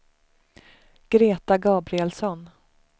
Greta Gabrielsson